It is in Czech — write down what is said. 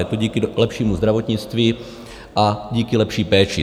Je to díky lepšímu zdravotnictví a díky lepší péči.